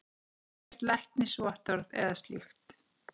Ekkert læknisvottorð eða slíkt.